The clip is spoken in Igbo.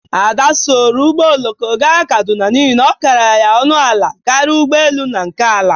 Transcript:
Ada soro ụgbọ oloko ga Kaduna n'ihi na ọ kara ya ọnụ ala karịa ụgbọ elu na nke ala.